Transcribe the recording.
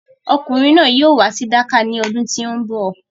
Ọkùnrin náà yóò wá sí Dakar ní ọdún tí o ń bọ̀.